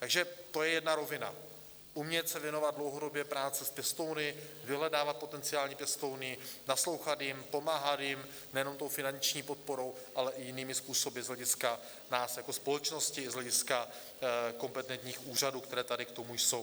Takže to je jedna rovina - umět se věnovat dlouhodobě práci s pěstouny, vyhledávat potenciální pěstouny, naslouchat jim, pomáhat jim nejenom tou finanční podporou, ale i jinými způsoby z hlediska nás jako společnosti, z hlediska kompetentních úřadů, které tady k tomu jsou.